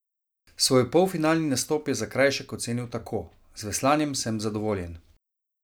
Svoj polfinalni nastop je Zakrajšek ocenil tako: "Z veslanjem sem zadovoljen.